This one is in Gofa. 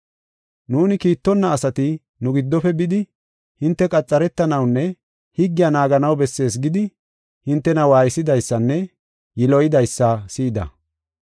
“Nuuni kiittonna asati nu giddofe bidi, ‘Hinte qaxaretanawunne higgiya naaganaw bessees’ gidi, hintena waaysidaysanne yiloydaysa si7ida.